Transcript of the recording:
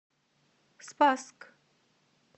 спасск